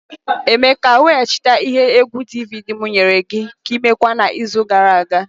Emeka, weghachite ihe egwu DVD m nyere gi ka I mekwaa n'izu gara aga!